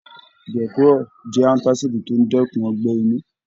Gecrol jẹ antasidi to n dẹkùn ọgbẹ inú.